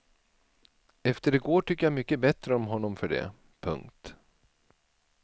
Efter i går tycker jag mycket bättre om honom för det. punkt